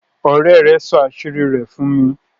òré rẹ sọ àṣírí rẹ̀ fún mi.